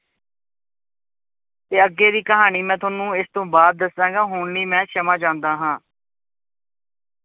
ਤੇ ਅੱਗੇ ਦੀ ਕਹਾਣੀ ਮੈਂ ਤੁਹਾਨੂੰ ਇਸ ਤੋਂ ਬਾਅਦ ਦੱਸਾਂਗਾ, ਹੁਣ ਲਈ ਮੈਂ ਸਮਾਂ ਚਾਹੁੰਦਾ ਹਾਂ।